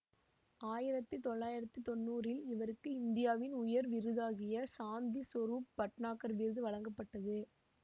ஆயிரத்தி தொள்ளாயிரத்தி தொன்னூறில் இவருக்கு இந்தியாவின் உயர் விருதாகிய சாந்தி சொரூப்பு பட்னாகர் விருது வழங்கப்பட்டது